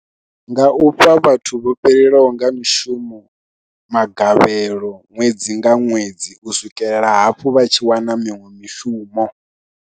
Nga u fha vhathu vho fhelelwaho nga mishumo magavhelo ṅwedzi nga ṅwedzi u swikelela hafhu vha tshi wana miṅwe mishumo.